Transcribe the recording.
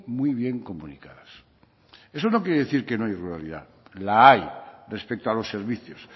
muy bien comunicadas eso no quiere decir que no hay ruralidad la hay respecto a los servicios